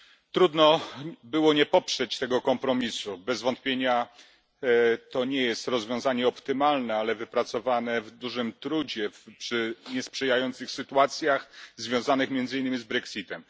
Trudno było nie poprzeć tego kompromisu. Bez wątpienia nie jest to rozwiązanie optymalne, ale wypracowane w dużym trudzie, przy niesprzyjających sytuacjach związanych między innymi z brexitem.